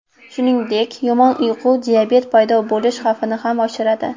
Shuningdek, yomon uyqu diabet paydo bo‘lish xavfini ham oshiradi.